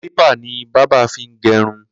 Klípà ni bàbà fi n gẹrún